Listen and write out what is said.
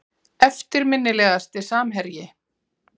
Eftirminnilegasti samherji?